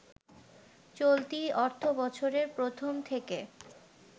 চলতি অর্থবছরের প্রথম থেকে